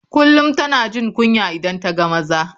Kullum tana jin kunya idan ta ga maza.